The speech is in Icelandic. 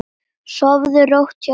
Sofðu rótt, hjartað mitt.